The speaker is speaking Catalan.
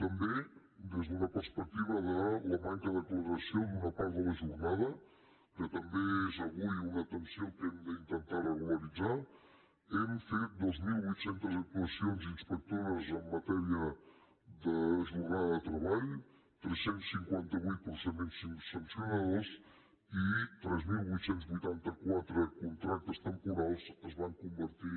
també des d’una perspectiva de la manca de declaració d’una part de la jornada que també és avui una tensió que hem d’intentar regularitzar hem fet dos mil vuit cents actuacions inspectores en matèria de jornada de treball tres cents i cinquanta vuit procediments sancionadors i tres mil vuit cents i vuitanta quatre contractes temporals es van convertir